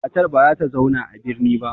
Matar ba za ta zauna a birni ba.